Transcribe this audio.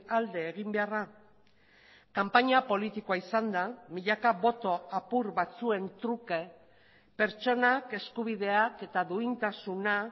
alde egin beharra kanpaina politikoa izanda milaka boto apur batzuen truke pertsonak eskubideak eta duintasuna